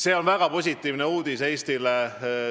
See on väga positiivne uudis Eestile.